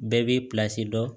Bɛɛ b'i dɔn